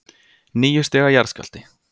Níu stiga jarðskjálfti